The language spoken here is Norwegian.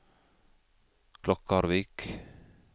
Klokkarvik